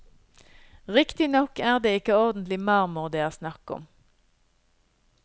Riktignok er det ikke ordentlig marmor det er snakk om.